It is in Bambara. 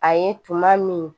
A ye tuma min